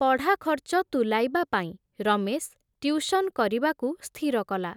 ପଢ଼ାଖର୍ଚ୍ଚ ତୁଲାଇବାପାଇଁ, ରମେଶ୍, ଟିଉସନ୍ କରିବାକୁ ସ୍ଥିର କଲା ।